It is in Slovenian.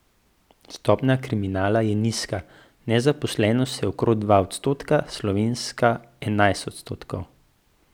Stopnja kriminala je nizka, nezaposlenost je okrog dva odstotka, slovenska enajst odstotkov.